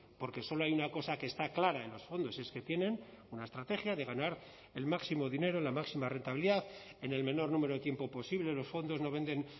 porque solo hay una cosa que está clara en los fondos es que tienen una estrategia de ganar el máximo dinero la máxima rentabilidad en el menor número de tiempo posible los fondos no venden